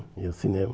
Ia ao cinema.